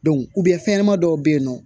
fɛnɲɛnama dɔw bɛ yen nɔ